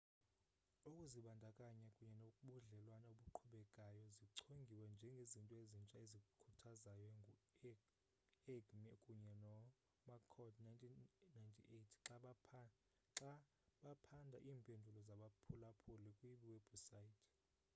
"ukuzibandakanya kunye nobudlelwane obuqhubekayo zichongiwe njengezinto ezintsha ezikhuthazayo ngu-eighmey kunye nomccord 1998 xa baphanda iimpendulo zabaphulaphuli kwiiwebhusayithi